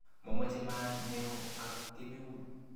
Mamoche maat neo ak kemeut